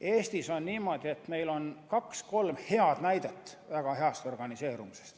Eestis on niimoodi, et meil on kaks või kolm head näidet väga heast organiseerumisest.